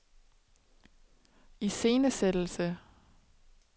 iscenesættelse